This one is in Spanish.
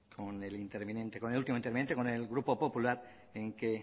último interviniente con el grupo popular en que